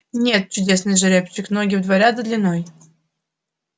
нет чудесный жеребчик ноги в два ряда длиной